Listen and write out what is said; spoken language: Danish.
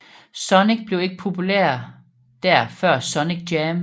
Sonic blev ikke populær der før Sonic Jam